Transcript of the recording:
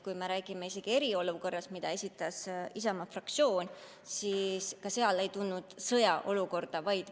Kui me räägime eriolukorrast, mida puudutava ettepaneku esitas Isamaa fraktsioon, siis ka sellega seoses ei tulnud jutuks sõjaseisukord.